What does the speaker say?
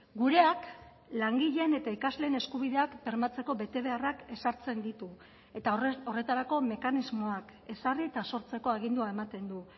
gureak langileen eta ikasleen eskubideak bermatzeko betebeharrak ezartzen ditu eta horretarako mekanismoak ezarri eta sortzeko agindua ematen du